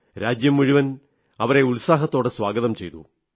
രാജ്യം മുഴുവൻ അവരെ ഉത്സാഹത്തോടെ സ്വാഗതം ചെയ്തു